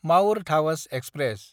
माउर धावज एक्सप्रेस